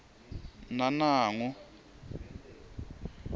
nanangu